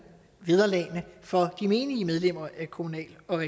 vederlagene for de menige medlemmer af kommunal og